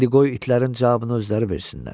İndi qoy itlərin cavabını özləri versinlər.